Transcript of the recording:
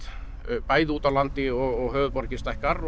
bæði úti á landi og höfuðborgin stækkar og